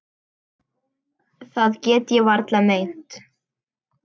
Það get ég varla meint.